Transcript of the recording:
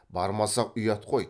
бармасақ ұят қой